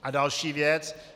A další věc.